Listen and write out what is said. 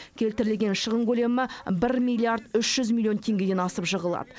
келтірілген шығын көлемі бір миллиард үш жүз миллион теңгеден асып жығылады